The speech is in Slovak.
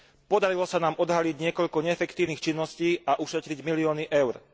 Podarilo sa nám odhaliť niekoľko neefektívnych činností a ušetriť milióny eur.